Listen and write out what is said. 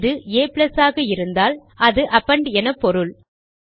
இது a ஆக இருந்தால் அது அப்பெண்ட் எனப்பொருள்